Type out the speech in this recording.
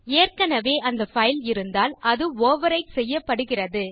ஏற்கனவே அந்த பைல் இருந்தால் அது ஓவர்விரைட் செய்யப்படுகிறது